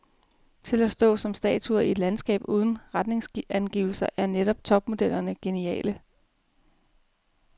Til at stå som statuer i et landskab uden retningsangivelser er netop topmodellerne geniale.